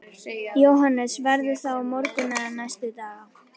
Jóhannes: Verður það á morgun eða næstu daga?